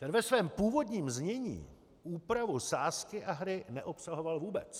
Ten ve svém původním znění úpravu sázky a hry neobsahoval vůbec.